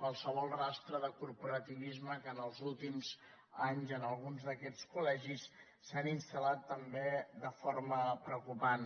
qualsevol rastre de corporativisme que en els últims anys en alguns d’aquests colpreocupant